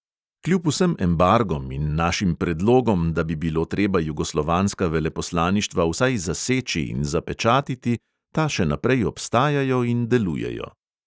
Kljub vsem embargom in našim predlogom, da bi bilo treba jugoslovanska veleposlaništva vsaj zaseči in zapečatiti, ta še naprej obstajajo in delujejo.